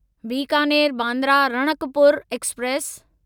Bikaner Bandra Ranakpur express